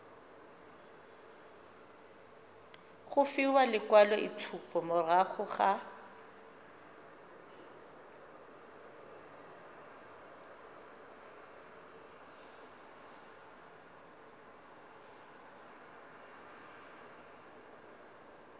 go fiwa lekwaloitshupo morago ga